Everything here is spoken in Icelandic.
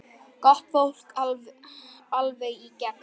Gott fólk, alveg í gegn.